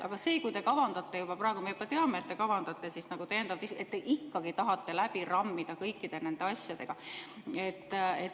Aga kui te kavandate juba praegu – me teame, et te kavandate – täiendavat istungit, siis te ikkagi tahate läbi rammida kõikide nende asjadega.